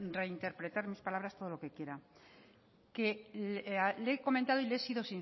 reinterpretar mis palabras todo lo que quiera que le he comentado y le he sido